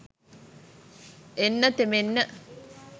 එන්න තෙමෙන්න